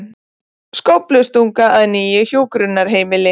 Skóflustunga að nýju hjúkrunarheimili